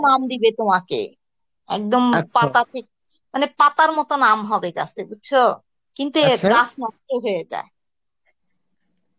আম দিবে তোমাকে একদম মানে পাতার মতো আম হবে গাছে বুঝছো কিন্তু নষ্ট হয়ে যায়